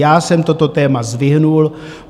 Já jsem toto téma zvedl.